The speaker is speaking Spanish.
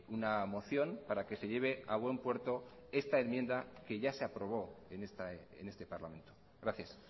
una moción para que se lleve a buen puerto esta enmienda que ya se aprobó en este parlamento gracias